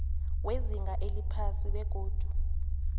wezinga eliphasi begodu